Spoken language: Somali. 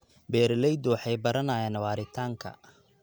Beeraleydu waxay baranayaan waaritaanka.